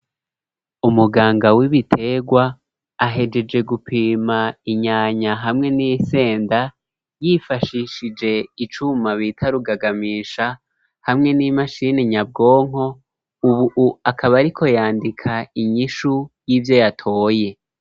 Umuganga w'ibiterwa ahejeje gupima inyanya hamwe n'isenda yifashishije icuma bita rugagamisha hamwe n'imashini nyabwonko, ubu akaba ariko yandika inyishu y'ivyo yatoye.